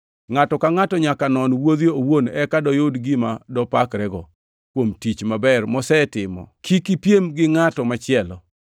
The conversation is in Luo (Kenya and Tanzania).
Ngʼato ka ngʼato nyaka non wuodhe owuon eka doyud gima dopakrego kuom tich maber mosetimo kik ipiem gi ngʼat machielo,